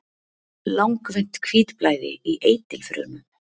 langvinnt hvítblæði í eitilfrumum